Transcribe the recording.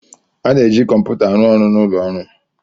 A na-eji kọmputa arụ ọrụ n'ụlọ ọrụ.